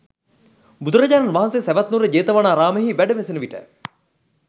බුදුරජාණන් වහන්සේ සැවැත්නුවර ජේතවනාරාමයෙහි වැඩවෙසෙන විට